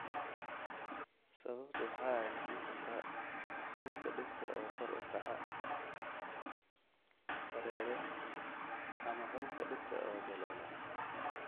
Sababtu waxa ay noqon kartaa xuubka dhegta oo kor u kaco, dareere, ama xuubka dhegta oo daloola.